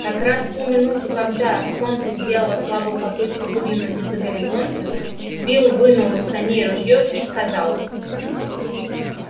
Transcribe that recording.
как раз в ту минуту когда солнце сделало слабую попытку выглянуть из-за горизонта билл вынул из саней ружьё и сказал